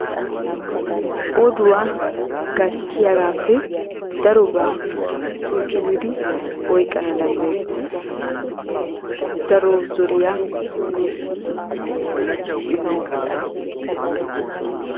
Oduwaa gatiyaabagappe daroba cucccumidi oyqqana danddayeetees. daro zoriya nuussi immees.